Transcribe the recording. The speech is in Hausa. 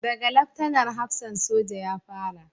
Da ga Laftanar hafsan soja ya fara